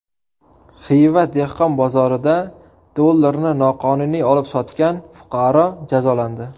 Xiva dehqon bozorida dollarni noqonuniy olib-sotgan fuqaro jazolandi.